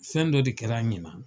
Fɛn dɔ de kɛra ɲinan.